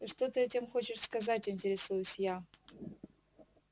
и что ты этим хочешь сказать интересуюсь я